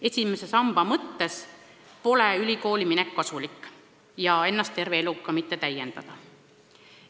Esimese samba mõttes pole ülikooli minek kasulik ja ka ennast terve elu täiendada mitte.